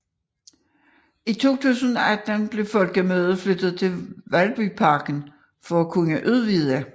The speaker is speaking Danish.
I 2018 blev folkemødet flyttet til Valbyparken for at kunne udvide